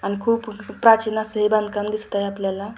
आणि खूप प्राचीन अस हे बांधकाम दिसत आहे आपल्याला.